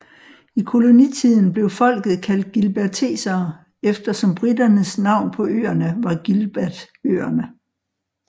I kolonitiden blev folket kaldt gilbertesere efter som briternes navn på øerne var Gilbertøerne